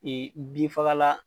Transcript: Ee bin fagala